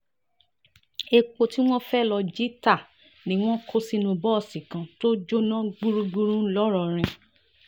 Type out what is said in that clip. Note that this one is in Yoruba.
epo tí wọ́n fẹ́ẹ́ lọ́ọ́ jí ta ni wọ́n kó sínú bọ́ọ̀sì kan tó jóná gbúgbúrú ńlọrọ́rìn